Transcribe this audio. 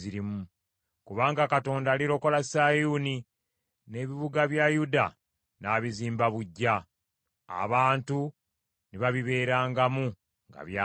Kubanga Katonda alirokola Sayuuni, n’ebibuga bya Yuda n’abizimba buggya, abantu ne babibeerangamu nga byabwe.